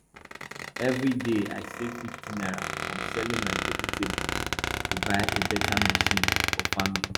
every day i save 50 naira from selling my vegetables to buy a better machine for farming